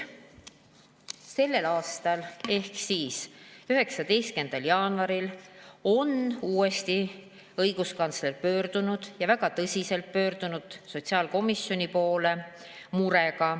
Selle aasta 19. jaanuaril pöördus õiguskantsler uuesti – ja väga tõsiselt – murega sotsiaalkomisjoni poole.